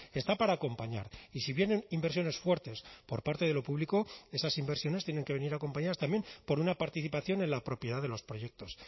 está para acompañar y si vienen inversiones fuertes por parte de lo público esas inversiones tienen que venir acompañadas también por una participación en la propiedad de los proyectos